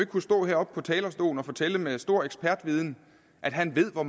kunne stå heroppe på talerstolen og fortælle med stor ekspertviden at han ved hvor